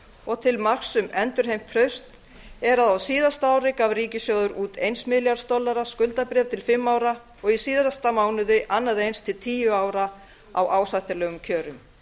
og til marks um endurheimt traust er að á síðasta ári gaf ríkissjóður út eins milljarðs dollara skuldabréf til fimm ára og í síðasta mánuði annað eins til tíu ára á ásættanlegum kjörum